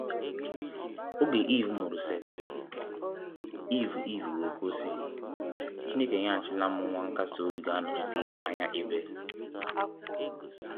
Oge Eve mụrụ Seth, Eve Eve wee kwuo sị, “Chineke enyeghachila m nwa nkasi obi ga-anọchite anya Abel”.